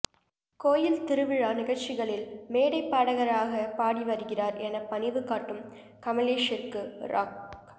கோயில் திருவிழா நிகழ்ச்சிகளில் மேடை பாடகராக பாடி வருகிறார் என பணிவு காட்டும் கமலேஷிற்கு ராக்